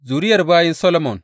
Zuriyar bayin Solomon.